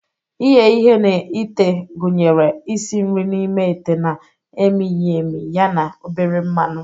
Ighe ihe na ite gụnyere isi nri n'ime ite na-emighị emi ya na obere mmanụ.